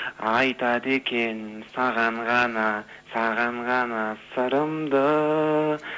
айтады екем саған ғана саған ғана сырымды